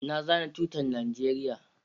Na zana tutar Nijeriya